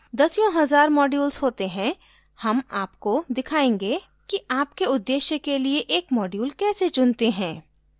दसियों हज़ार modules होते हैं हम आपको दिखायेंगे कि आपके उद्देश्य के लिए एक modules कैसे चुनते हैं